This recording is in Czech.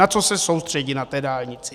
Na co se soustředit na té dálnici.